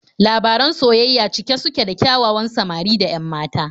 Labaran soyayya cike suke da ƙyawawan samari da 'yan mata.